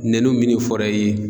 Nɛnu minni fɔra i ye